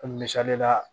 Misali la